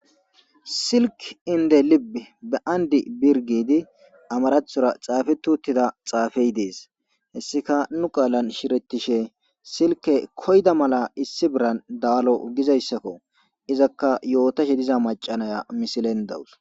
silk inde lib be andi birgidi amarathora xaafe tuuttida xaafey dees hessika nu qaalan shirettishe silke koyda mala issi biran daalo gizayssakko izakka yootashe diza macanaya misilen dawus